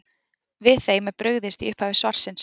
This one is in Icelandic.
Við þeim er brugðist í upphafi svarsins.